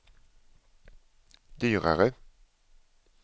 dyrare